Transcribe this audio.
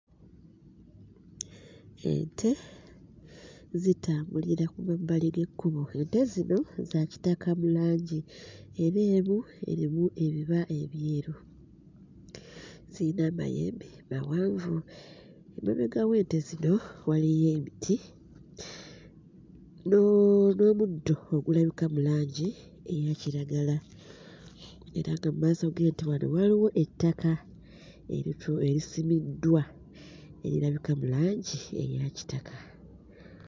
Ente zitambulira ku mabbali g'ekkubo. Ente zino za kitaka mu langi era emu erimu ebiba eyeru. Zirina amayembe mawanvu, emabega w'ente zino waliyo emiti n'omuddo ogulabika mu langi eyakiragala. Era nga mu maaso g'ente wano waliwo ettaka eritu erisibiddwa erirabika mu langi eya kitaka.